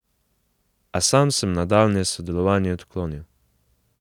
A sam sem nadaljnje sodelovanje odklonil.